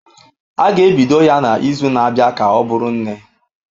A ga-ebido ya n'izu na-abịa ka ọ bụrụ nne.